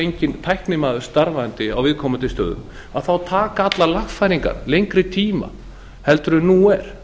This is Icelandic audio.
enginn tæknimaður starfandi á viðkomandi stöðum þá taka allar lagfæringar lengri tíma heldur en nú er